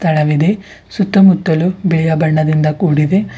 ತಳವಿದೆ ಸುತ್ತಮುತ್ತಲು ಬೇಯ ಬಣ್ಣದಿಂದ ಕೊಡಿದೆ.